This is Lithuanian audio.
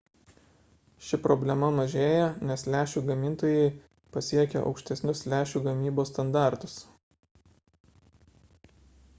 ši problema mažėja nes lęšių gamintojai pasiekia aukštesnius lęšių gamybos standartus